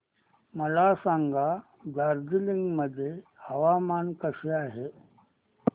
मला सांगा दार्जिलिंग मध्ये हवामान कसे आहे